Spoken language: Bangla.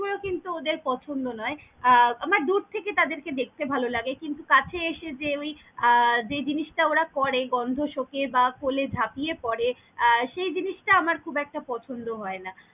পুরো কিন্তু ওদের পছন্দ নয়, আহ আমার দূর থেকে তাদের কে দেখতে ভালো লাগে কিন্তু কাছে এসে যে ওই আহ যেই জিনিস টা ওরা করে গন্ধ সোঁকে বা কলে ঝাঁপিয়ে পরে আহ সেই জিনিস টা আমার খুব একটা পছন্দ হয় না।